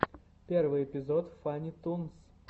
первый эпизод фанни тунс